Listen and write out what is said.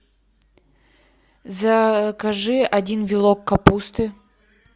закажи один вилок капусты